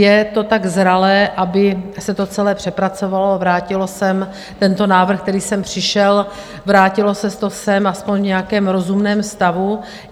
Je to tak zralé, aby se to celé přepracovalo a vrátilo sem tento návrh, který sem přišel, vrátilo se to sem aspoň v nějakém rozumném stavu.